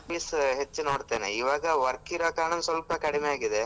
Movies ಹೆಚ್ಚು ನೋಡ್ತೆನೆ ಇವಾಗ work ಇರೋ ಕಾರಣಕ್ಕೆ ಸ್ವಲ್ಪ ಕಡಿಮೆ ಆಗಿದೆ.